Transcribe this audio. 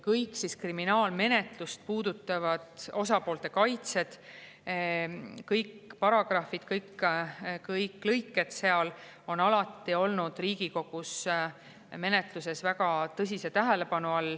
Kõik kriminaalmenetlust puudutavad, osapoolte kaitse, kõik paragrahvid, kõik lõiked seal on alati olnud Riigikogu menetluses väga tõsise tähelepanu all.